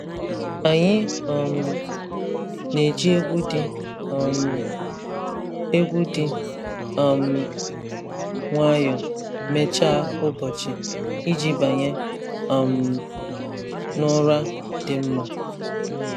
Anyị um na-eji egwu dị um egwu dị um nwayọọ mechaa ụbọchị iji banye um n’ụra dị mma.